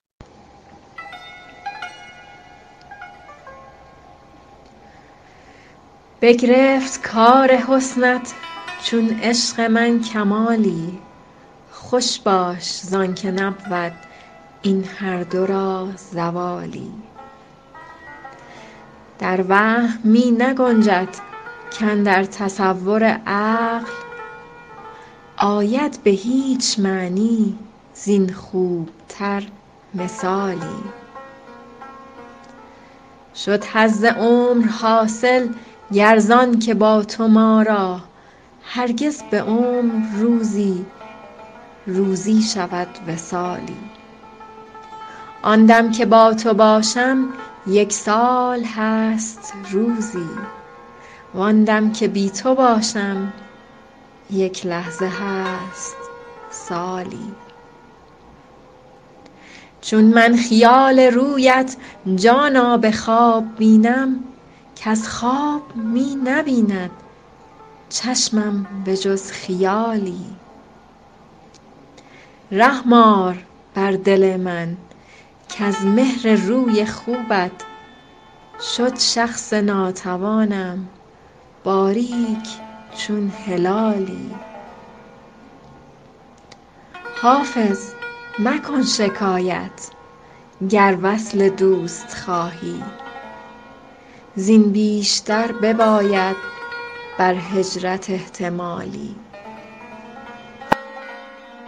بگرفت کار حسنت چون عشق من کمالی خوش باش زان که نبود این هر دو را زوالی در وهم می نگنجد کاندر تصور عقل آید به هیچ معنی زین خوب تر مثالی شد حظ عمر حاصل گر زان که با تو ما را هرگز به عمر روزی روزی شود وصالی آن دم که با تو باشم یک سال هست روزی وان دم که بی تو باشم یک لحظه هست سالی چون من خیال رویت جانا به خواب بینم کز خواب می نبیند چشمم به جز خیالی رحم آر بر دل من کز مهر روی خوبت شد شخص ناتوانم باریک چون هلالی حافظ مکن شکایت گر وصل دوست خواهی زین بیشتر بباید بر هجرت احتمالی